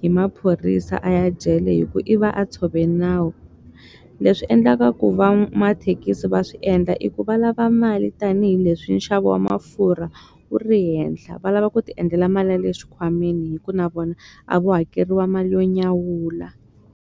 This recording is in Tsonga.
hi maphorisa a ya jele hi ku i va a tshove nawu leswi endlaka ku va mathekisi va swi endla i ku va lava mali tanihileswi nxavo wa mafurha wu ri henhla va lava ku ti endlela mali ya le xikhwameni hi ku na vona a vo hakeriwa mali yo nyawula.